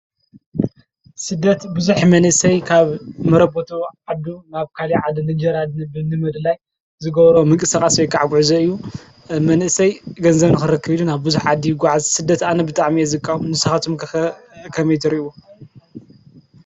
ስደት ብዙሕ መንእስይ ካብ መረበቱ ዓዱ ናብ ካሊእ ዓዲ እንጀራ ንምድላይ ዝገብሮ ምንቅስቃስ ወይ ከዓ ጉዕዞ እዩ መንእሰይ ገንዘብ ንክረክብ ኢሉ ናብ ብዙሕ ዓዲ ይጉዓዝ ስደት ኣነ ብጣዕሚ'የ ዝቃወም ንስካትኩም ከ ከምይ ትርእይዎ?